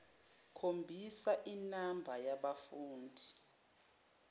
khombisa inamba yabafundi